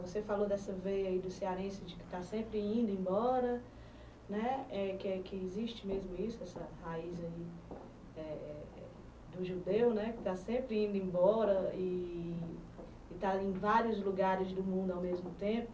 Você falou dessa veia do cearense de que está sempre indo embora né, é que existe mesmo isso, essa raiz é é do judeu né, que está sempre indo embora e está em vários lugares do mundo ao mesmo tempo.